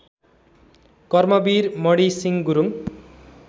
Karmveer Mani Singh Gurung